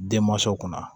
Denmansa kunna